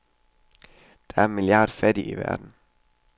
Der er en milliard fattige i verden.